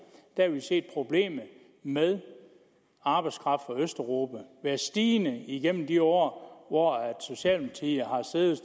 har vi set at problemet med arbejdskraft fra østeuropa har været stigende altså igennem de år hvor socialdemokratiet